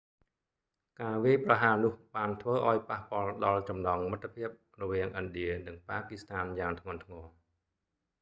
ការវាយប្រហារនោះបានធ្វើឲ្យប៉ះពាល់ដល់ចំណងមិត្តភាព រវាងឥណ្ឌានិងប៉ាគឺស្ថានយ៉ាងធ្ងន់ធ្ងរ